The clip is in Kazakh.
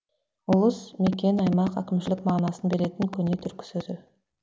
ұлыс мекен аймақ әкімшілік мағынасын беретін көне түркі сөзі